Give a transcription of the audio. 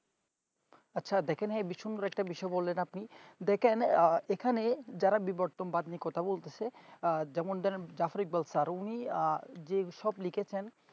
আছে দেখেন এই বিসম্বর একটা বিষয় বলেন আপনি দেখেন আহ এখানে যারা বিবর্তন বাদ নিয়ে কথা বলতেছে যেমন ধরেন jafarik ব্যাবস্থা আর উনি যে সব লিখেছেন